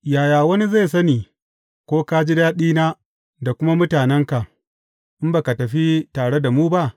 Yaya wani zai sani ko ka ji daɗina da kuma mutanenka, in ba ka tafi tare da mu ba?